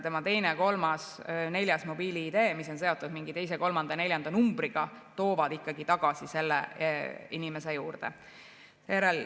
Tema teine, kolmas või neljas mobiil‑ID, mis on seotud mingi teise, kolmanda või neljanda numbriga, toovad ikkagi tagasi selle inimese juurde.